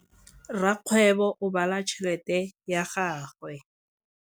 Rakgwêbô o bala tšheletê ya gagwe.